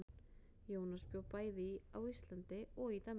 Jónas bjó bæði á Íslandi og í Danmörku.